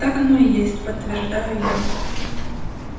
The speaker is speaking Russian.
так оно и есть подтверждаю я